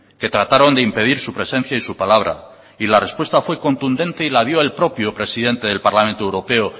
que trataron de impedir su presencia y su palabra y la respuesta fue contundente y la dio el propio presidente del parlamento europeo